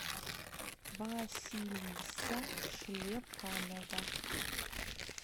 василиса шлепанова